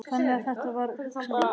Þannig að þetta er vel hugsanlegt?